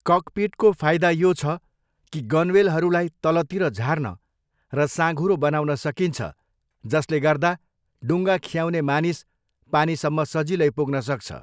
ककपिटको फाइदा यो छ कि गनवेलहरूलाई तलतिर झार्न र साँघुरो बनाउन सकिन्छ जसले गर्दा डुङ्गा खियाउने मानिस पानीसम्म सजिलै पुग्नसक्छ।